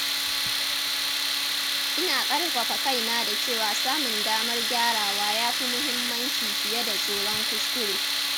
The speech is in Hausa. Ina ƙarfafa kaina da cewa samun damar gyarawa ya fi muhimmanci fiye da tsoron kuskure.